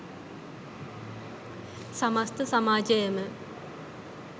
සමස්ත සමාජයම